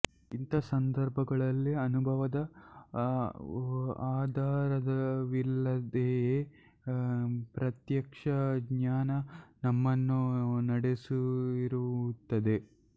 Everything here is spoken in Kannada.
ಇಂಥ ಸಂದರ್ಭಗಳಲ್ಲಿ ಅನುಭವದ ಆಧಾರವಿಲ್ಲದೆಯೇ ಪ್ರತ್ಯಕ್ಷ ಜ್ಞಾನ ನಮ್ಮನ್ನು ನಡೆಸಿರುತ್ತದೆ